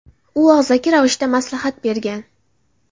U og‘zaki ravishda maslahat bergan.